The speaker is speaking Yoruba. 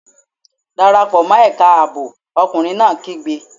Dára pò mọ́ ẹ̀ka ààbò! Ọkùnrin náà kígbe!